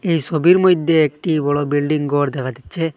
এই ছবির মইধ্যে একটি বড় বিল্ডিং ঘর দেখা যাচ্ছে।